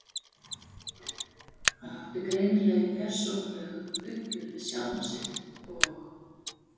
Hann átti greinilega í persónulegu uppgjöri við sjálfan sig og